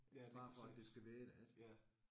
Ja lige præcis. Ja